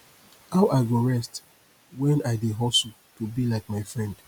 how i go rest wen i dey hustle to be like my friend